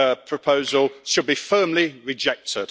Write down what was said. proposal should be firmly rejected.